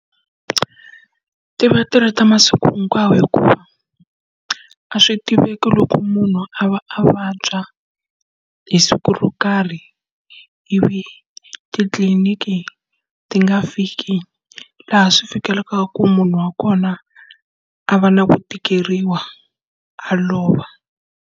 Ti va ti ri ta masiku hinkwawo hikuva a swi tiveki loko munhu a va a vabya hi siku ro karhi, ivi titliliniki ti nga fiki laha swi fikelelaka ku munhu wa kona a va na ku tikeriwa, a lova.